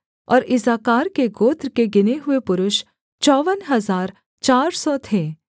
और इस्साकार के गोत्र के गिने हुए पुरुष चौवन हजार चार सौ थे